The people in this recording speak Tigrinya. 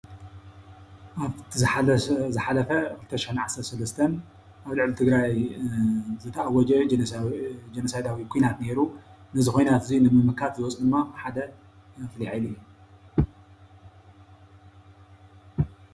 አብቲ ዝሓፈ 2013 ኣብ ልዕሊ ትግራይ ዝተኣወጀ ጆነሳይዳዊ ኩናት ነይሩ፡፡ ነዚ ኩናት እዚ ንምምካት ዝወፁ ድማ ሓደ ፉሉይ ሓይሊ እዩ፡፡